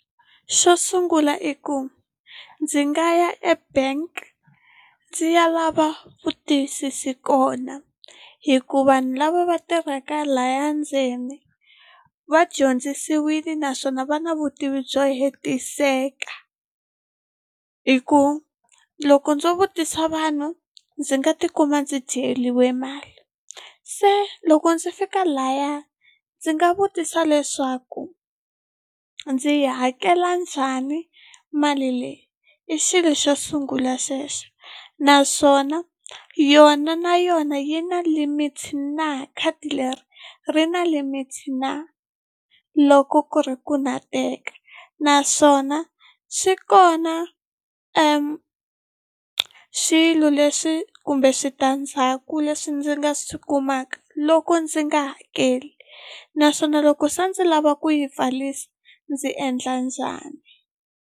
Xo sungula i ku ndzi nga ya ebank ndzi ya lava vutiyisisi kona hikuva vanhu lava va tirhaka lahaya ndzeni vadyondzisiwile naswona va na vutivi byo hetiseka hi ku loko ndzo vutisa vanhu ndzi nga tikuma ndzi dyeriwe mali se loko ndzi fika laya ndzi nga vutisa leswaku a ndzi yi hakela njhani mali leyi i xilo xo sungula xexo naswona yona na yona yi na limit na khadi leri ri na limit na loko ku ri ku na teka naswona swi kona swilo leswi kumbe switandzhaku leswi ndzi nga swi kumaka loko ndzi nga hakeli naswona loko se ndzi lava ku yi pfarisa ndzi endla njhani.